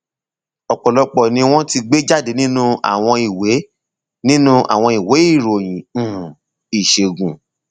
ọpọlọpọ ni wọn ti gbé jáde nínú àwọn ìwé nínú àwọn ìwé ìròyìn um ìṣègùn